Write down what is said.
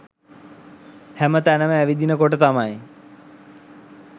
හැම තැනම ඇවිදින කොට තමයි